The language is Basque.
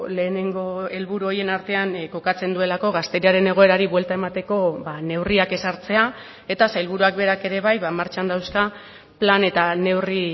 lehenengo helburu horien artean kokatzen duelako gazteriaren egoerari buelta emateko neurriak ezartzea eta sailburuak berak ere bai martxan dauzka plan eta neurri